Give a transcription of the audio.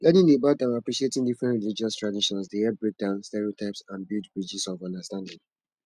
learning about and appreciating different religious traditions dey help break down stereotypes and build bridges of understanding